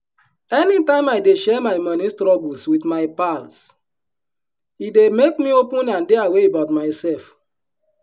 anytime i dey share my moni struggles with my pals e dey make me open and dey aware about mysef.